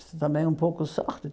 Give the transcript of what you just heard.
Isso também é um pouco sorte.